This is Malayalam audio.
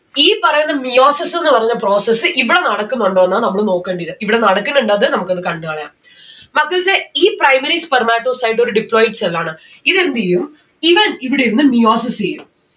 ഈ പറയുന്ന meiosis എന്ന് പറഞ്ഞ process ഇവിടെ നടക്കുന്നുണ്ടൊന്ന നമ്മള് നോക്കണ്ടത് ഇവിടെ നടക്കുന്നിണ്ടത്‌ നമ്മക്ക് ഒന്ന് കണ്ട്‌ കളയാം. മക്കൽസെ ഈ primary spermatocyte ഒരു diploid cell ആണ്. ഇത് എന്തെയ്യും ഇവൻ ഇവിടെ ഇരുന്ന് meiosis എയ്യും